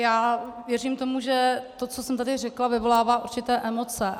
Já věřím tomu, že to, co jsem tady řekla, vyvolává určité emoce.